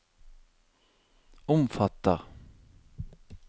omfatter